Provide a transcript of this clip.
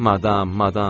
Madam, madam!